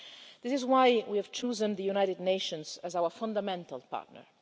This is why we have chosen the United Nations as our fundamental partner.